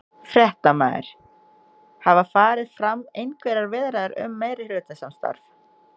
Fréttamaður: Hafa farið fram einhverjar viðræður um meirihlutasamstarf?